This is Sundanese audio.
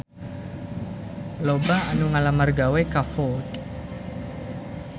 Loba anu ngalamar gawe ka Ford